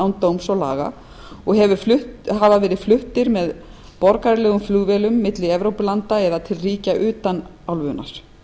án dóms og laga og verið fluttir með borgaralegum flugvélum milli evrópulanda eða til ríkja utan álfunnar